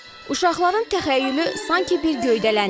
Uşaqların təxəyyülü sanki bir göydələndi.